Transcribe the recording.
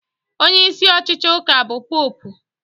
Onyeisi ọchịchị ụka bụ Popu